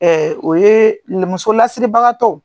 o ye musolasiribagatɔw